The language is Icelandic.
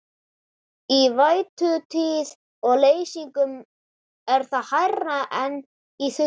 Í vætutíð og leysingum er það hærra en í þurrkum.